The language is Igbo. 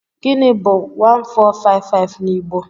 Gịnị bu 1455 n'Igbo?